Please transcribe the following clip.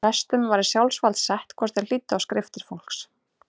Prestum var í sjálfsvald sett hvort þeir hlýddu á skriftir fólks.